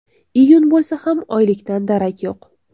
Iyun bo‘lsa ham oylikdan darak yo‘q.